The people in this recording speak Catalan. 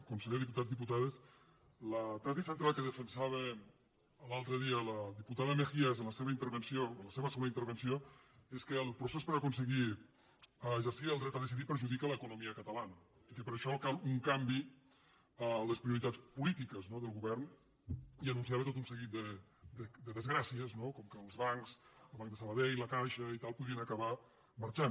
conseller diputats diputades la tesi central que defensava l’altre dia la diputada mejías en la seva intervenció en la seva segona intervenció és que el procés per aconseguir exercir el dret a de·cidir perjudica l’economia catalana i que per això cal un canvi a les prioritats polítiques del govern i anun·ciava tot un seguit de desgràcies com que els bancs el banc de sabadell la caixa i tal podrien acabar marxant